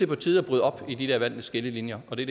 på tide at bryde op i de der valgte skillelinjer og det